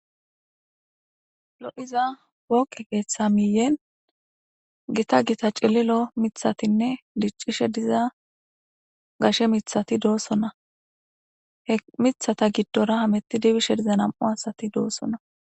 lo7hiza wokqe keeththa miiyen gita gita cililo mithatinne diccishe diza gashe mithati doossona he mithata giddora hameti dibishe diza nam7u asati doossona